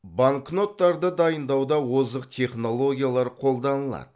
банкноттарды дайындауда озық технологиялар қолданылады